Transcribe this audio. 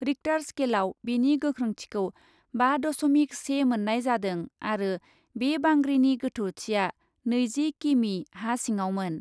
Richter स्केलआव बेनि गोख्रोंथिखौ बा दस'मिक से मोन्नाय जादों आरो बे बांग्रिनि गोथौथिआ नैजि किमि हा सिङावमोन ।